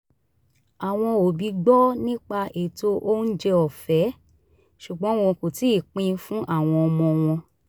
àwọn òbí gbọ́ nípa ètò oúnjẹ ọ̀fẹ́ ṣùgbọ́n wọ́n kò tíì pin fún àwọn ọmọ wọn